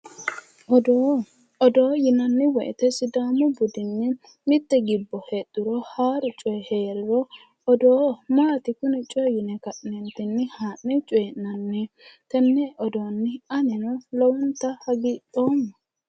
odoo odoo yinanni wote sidaamu budinni mitte gibbo heedhuro haaru coyi heeriro odoo maati kuni coyi yine ka'neentinni haanne coyiinnanniho tenne odoonni anino lowonta hagiidhoomma.